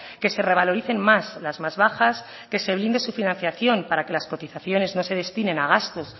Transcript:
que se revaloricen más las más bajas que se blinde su financiación para que las cotizaciones no se destinen a gastos